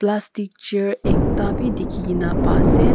plastic chair ekta bi dikhina kena pai ase.